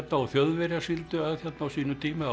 og Þjóðverjar sigldu að hérna á sínum tíma á